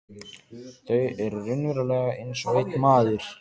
Þau eru raunverulega einsog einn maður.